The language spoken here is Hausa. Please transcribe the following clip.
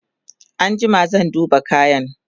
an jima zan duba kayan